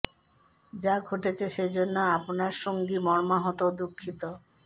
যা ঘটেছে সে জন্য আপনার সঙ্গী মর্মাহত ও দুঃখিত